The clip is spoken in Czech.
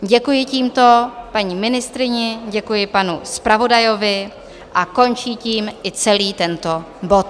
Děkuji tímto paní ministryni, děkuji panu zpravodajovi a končí tím i celý tento bod.